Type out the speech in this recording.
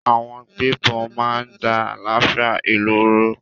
Àwọn gbébọn máa ń da àlàáfíà ìlú rú.